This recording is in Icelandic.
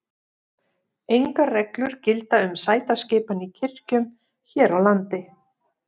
Engar reglur gilda um sætaskipan í kirkjum hér á landi.